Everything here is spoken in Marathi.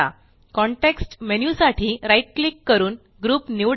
कॉन्टेक्स्ट मेन्यु साठी right क्लिक करून ग्रुप निवडा